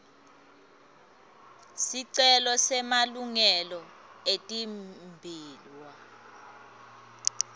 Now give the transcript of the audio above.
sicelo semalungelo etimbiwa